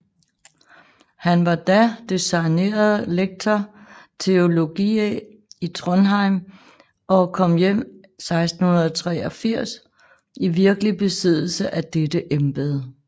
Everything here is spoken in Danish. Han var da designeret lector theologiæ i Trondhjem og kom 1683 i virkelig besiddelse af dette embede